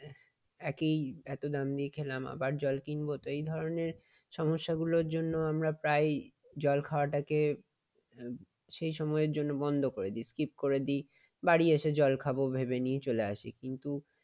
একেই এত দাম দিয়ে খেলাম আবার জল কিনব এই কারণে সমস্যাগুলোর জন্য আমরা প্রায়ই জল খাওয়াটাকে সেই সময়ের জন্য বন্ধ করে দেই skip করে দেই। বাড়ি এসে জল খাব ভেবে নিয়ে চলে আসি। কিন্তু